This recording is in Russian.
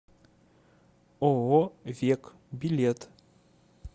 ооо век билет